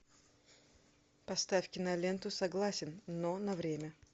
поставь киноленту согласен но на время